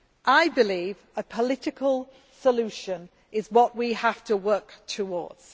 I believe a political solution is what we have to work towards.